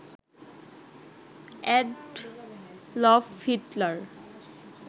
Adolf Hitler